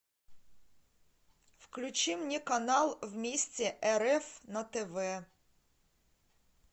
включи мне канал вместе рф на тв